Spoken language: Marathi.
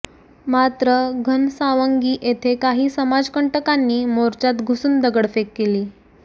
मात्र घनसावंगी येथे काही समाज कंटकांनी मोर्चात घुसुन दगडफेड केली